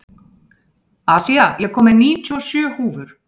Asía, ég kom með níutíu og sjö húfur!